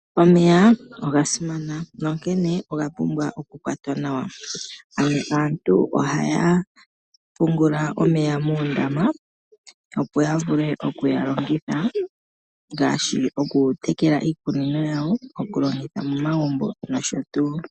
Omeya oga simana nonkene oga pumbwa okukwatwa nawa. Aantu ohaya pungula omeya moondama opo ya vule okuga longitha ngaashi okutekela iikunino yawo, okulongitha momagumbo noshotuu.